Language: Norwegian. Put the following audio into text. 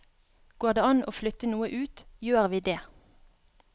Går det an å flytte noe ut, gjør vi det.